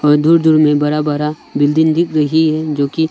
दूर दूर में बड़ा बड़ा बिल्डिंग दिख रही जोकि--